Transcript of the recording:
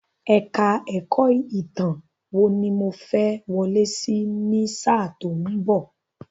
Èka-ẹ̀kọ́ Ìtàn wò ni mo fẹ́ wọlé sí ní sáà tí ó ń bọ̀.